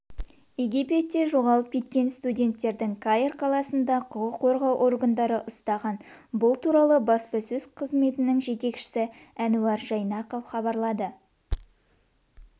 египетте жоғалып кеткен қазақстандық студенттерді каир қаласында құқық қорғау органдары ұстаған бұл туралы баспасөз қызметінің жетекшісі әнуар жайнақов хабарлады